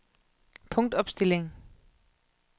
punktopstilling